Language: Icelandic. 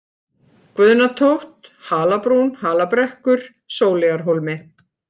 Guðnatótt, Halabrún, Halabrekkur, Sóleyjarhólmi